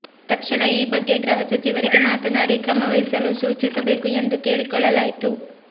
ತಕ್ಷಣ ಈ ಬಗ್ಗೆ ಗೃಹ ಸಚಿವರಿಗೆ ಮಾತನಾಡಿ ಕ್ರಮವಹಿಸಲು ಸೂಚಿಸಬೇಕು ಎಂದು ಕೇಳಿಕೊಳ್ಳಲಾಯಿತು